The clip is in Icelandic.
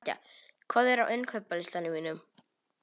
Nadia, hvað er á innkaupalistanum mínum?